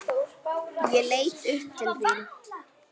Ég leit upp til þín.